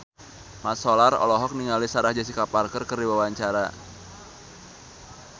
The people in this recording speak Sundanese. Mat Solar olohok ningali Sarah Jessica Parker keur diwawancara